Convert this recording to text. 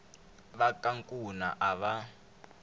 va ka nkuna a va